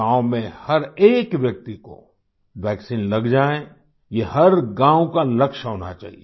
गांवों में हर एक व्यक्ति को वैक्सीन लग जाएयह हर गाँव का लक्ष्य होना चाहिए